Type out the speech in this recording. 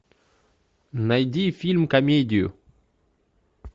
найди фильм комедию